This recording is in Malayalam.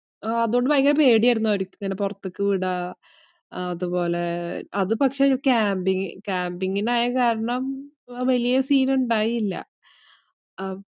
അതുകൊണ്ട് ഭയങ്കര പേടിയായിരുന്നു അവരിക്കിങ്ങനെ പൊറത്തേക്ക് വിടാ അതുപോലെ അത് പക്ഷേ ഒരു camping camping ഇനായ കാരണം വലിയ scene ഇണ്ടായില്ല അഹ്